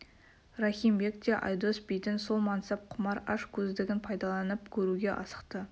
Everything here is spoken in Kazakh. рахим бек те айдос бидің сол мансап құмар аш көздігін пайдаланып көруге асықты